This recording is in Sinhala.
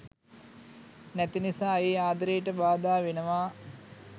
නැති නිසා ඒ ආදරේට බාධා වෙනවා.